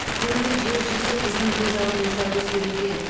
күллі жер жүзі біздің көз алдымызда өзгеруде